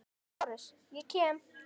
LÁRUS: Ég kem.